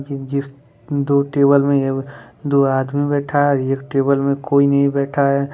जिन-जिस दो टेबल में है वो दो आदमी बैठा है एक टेबल में कोई नहीं बैठा है।